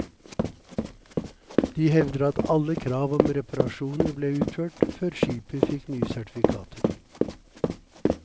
De hevder at alle krav om reparasjoner ble utført, før skipet fikk nye sertifikater.